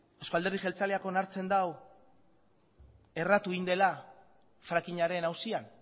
euzko alderdi jeltzaleak onartzen du erratu egin dela frackingaren auzian